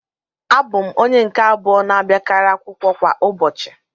Abụ m onye nke abụọ na-abịakarị akwụkwọ kwa ụbọchị